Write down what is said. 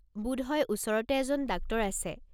বোধহয় ওচৰতে এজন ডাক্তৰ আছে।